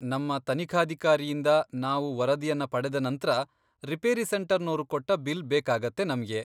ನಮ್ಮ ತನಿಖಾಧಿಕಾರಿಯಿಂದ ನಾವು ವರದಿಯನ್ನ ಪಡೆದ ನಂತ್ರ, ರಿಪೇರಿ ಸೆಂಟರ್ನೋರು ಕೊಟ್ಟ ಬಿಲ್ ಬೇಕಾಗತ್ತೆ ನಮ್ಗೆ.